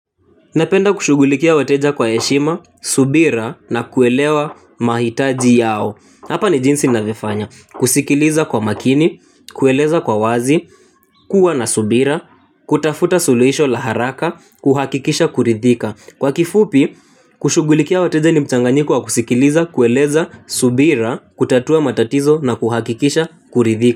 Napenda kushugulikia wateja kwa eshima, subira na kuelewa mahitaji yao. Hapa ni jinsi navyo fanya. Kusikiliza kwa makini, kueleza kwa wazi, kuwa na subira, kutafuta suluisho la haraka, kuhakikisha kuridhika. Kwa kifupi, kushugulikia wateja ni mchanganyiko wa kusikiliza, kueleza, subira, kutatua matatizo na kuhakikisha kuridhika.